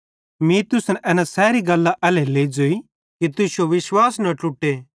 मीं तुसन एना सैरी गल्लां एल्हेरेलेइ ज़ोई कि तुश्शो विश्वास न ट्लुटे